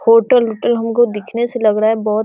hotel उटल हमको दिखने से लग रहा है बहोत --